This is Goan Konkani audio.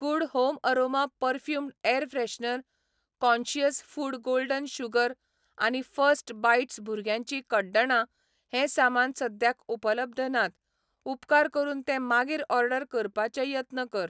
Good home aroma perfumed air freshener, conscious food golden sugar आनी फर्स्ट बाईट्स भुरग्यांची कड्डणां हें सामान सद्याक उपलब्ध नात, उपकार करून ते मागीर ऑर्डर करपाचे यत्न कर.